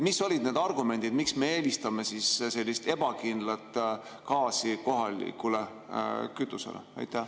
Mis olid need argumendid, miks me eelistame sellist ebakindlat gaasi kohalikule kütusele?